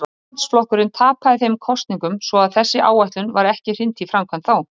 Íhaldsflokkurinn tapaði þeim kosningum svo að þessari áætlun var ekki hrint í framkvæmd þá.